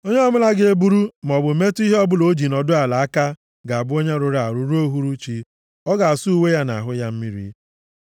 Onye ọbụla ga-eburu, maọbụ metụ ihe ọbụla o ji nọdụ ala aka ga-abụ onye rụrụ arụ ruo uhuruchi. Ọ ga-asa uwe ya na ahụ ya mmiri.